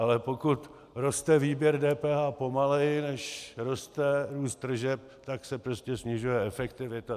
Ale pokud roste výběr DPH pomaleji, než roste růst tržeb, tak se prostě snižuje efektivita.